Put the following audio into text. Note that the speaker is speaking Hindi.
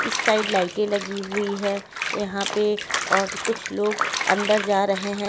इस साइड लाइटें लगी हुई है यहाँ पे और कुछ लोग अंदर जा रहे हैं।